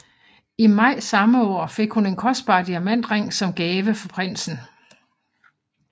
I maj samme år fik hun en kostbar diamantring som gave fra prinsen